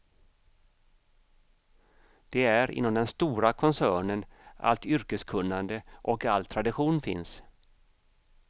Det är inom den stora koncernen allt yrkeskunnande och all tradition finns.